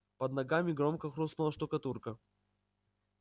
под ногами громко хрустнула штукатурка